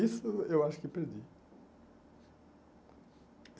Isso eu acho que perdi.